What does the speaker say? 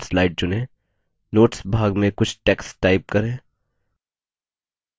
notes भाग में कुछ text type करें